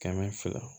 Kɛmɛ fila